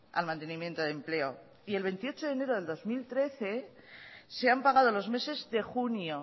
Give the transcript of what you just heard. al mantenimiento de empleo y el veintiocho de enero de dos mil trece se han pagado los meses de junio